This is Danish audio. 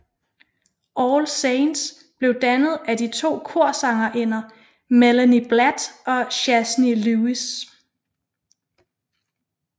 All Saints blev dannet af de to korsangerinder Melanie Blatt og Shazney Lewis